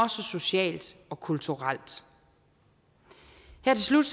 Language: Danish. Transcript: socialt og kulturelt her til slut